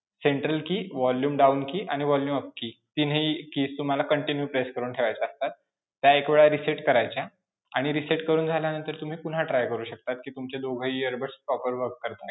Central key, volume down key आणि volume up key, तिन्ही keys तुम्हाला continue press करून ठेवायच्या असतात. त्या एक वेळ reset करायच्या, आणि reset करून झाल्यानंतर तुम्ही पुन्हा try करू शकता कि तुमच्या दोघंही earbuds proper work करतायेत.